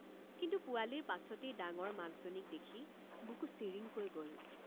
কিন্তু পোৱালিৰ পাছতেই ডাঙৰ মাকজনীক দেখি বুকু চিৰিংকৈ গল।